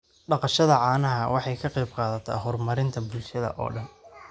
Dhaqashada caanaha waxay ka qayb qaadataa horumarinta bulshada oo dhan.